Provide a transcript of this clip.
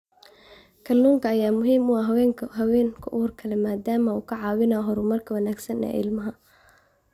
Kalluunka ayaa muhiim u ah haweenka uurka leh maadaama uu ka caawinayo horumarka wanaagsan ee ilmaha.